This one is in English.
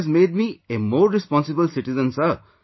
It has made me a more responsible citizen Sir